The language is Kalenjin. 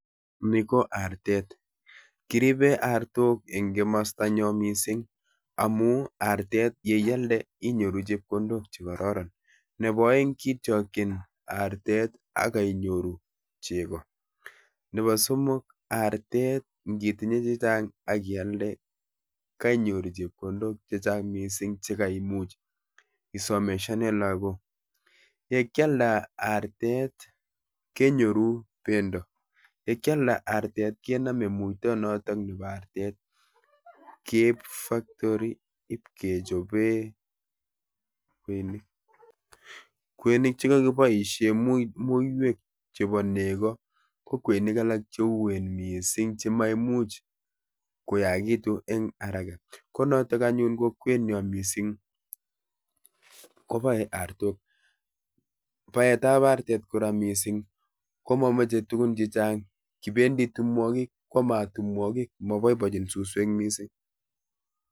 Ni ko artet. Kiribe artok eng kimasta nyo missing amu artet ye iyalde inyoru chepkondok chekororon. Nebo aeng kitiokchin artet akainyoru chego. Nebo somok, artet ngitinye chechang akialde kainyoru chepkondok chechang missing chekaimuch isomeshane lagok. Ye kyalda artet, kenyoru bendo, ye kyalda artet kenome muito notok nebo artet keib factory ibkechobee kweinik. Kweinik chekakiboisie mui muiywek chebo nego ko kweinik alak cheuen missing chemoimuch koyagitu eng haraka. Ko notok anyun ko kweniot missing koboe artok. Baetab artet kora missing ko momoche tugun chechang, kibendi tumwogik kwamat tumwogik, mabaibachin suswek missing.